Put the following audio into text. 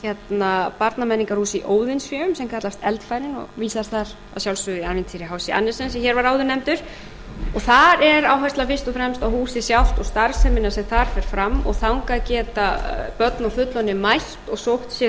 er barnamenningarhús í óðinsvéum sem kallast eldfærin og vísar þar að sjálfsögðu í ævintýri hc andersen sem hér var áður nefndur og þar er áherslan fyrst og fremst á húsið sjálft og starfsemina sem þar fer fram og þangað geta börn og fullorðnir mætt og sótt sér